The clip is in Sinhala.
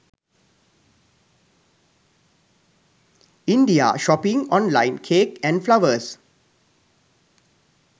india shopping online cake and flowers